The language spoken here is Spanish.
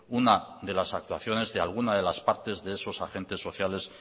una de las actuaciones de algunas de las partes de esos agentes sociales